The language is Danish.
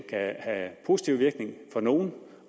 kan have positiv virkning for nogle